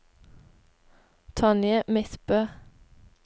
Tonje Midtbø